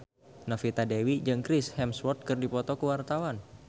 Novita Dewi jeung Chris Hemsworth keur dipoto ku wartawan